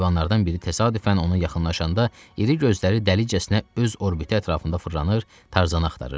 Heyvanlardan biri təsadüfən ona yaxınlaşanda iri gözləri dəlicəsinə öz orbiyi ətrafında fırlanır, Tarzanı axtarırdı.